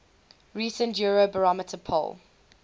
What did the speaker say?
recent eurobarometer poll